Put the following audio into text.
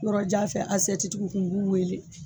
Yɔrɔ jan fɛ asɛti tigiw kun u b'u wele